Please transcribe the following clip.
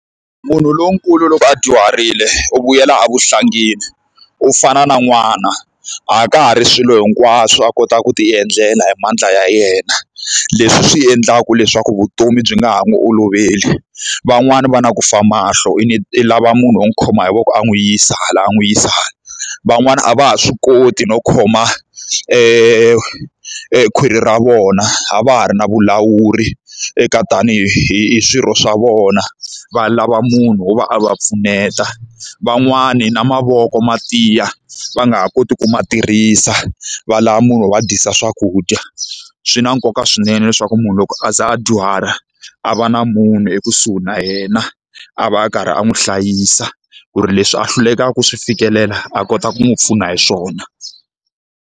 Munhu lonkulu loko a dyuharile u vuyela evuhlangini, u fana na n'wana, a ka ha ri swilo hinkwaswo a kotaka ku ti endlela hi mandla ya yena. Leswi swi endlaka leswaku vutomi byi nga ha n'wi oloveli. Van'wani va na ku fa mahlo i i lava munhu wo n'wi khoma hi voko a n'wi yisa laha a n'wi yisa hala. Van'wani a va ha swi koti no khoma e khwiri ra vona, a va ha ri na vulawuri eka ta ni hi hi hi swirho swa vona, va lava munhu wo va a va pfuneta. Van'wani na mavoko ma tiya va nga ha koti ku ma tirhisa, va lava munhu wa dyisa swakudya. Swi na nkoka swinene leswaku ku munhu loko a za a dyuhala a va na munhu ekusuhi na yena, a va a karhi a n'wi hlayisa ku ri leswi a hlulekaka ku swi fikelela a kota ku n'wi pfuna hi swona.